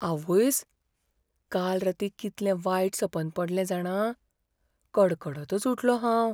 आवयस, काल रातीं कितलें वायट सपन पडलें जाणा, कडकडतच उठलों हांव.